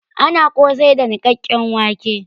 Ana kosai da nikkaken wãke.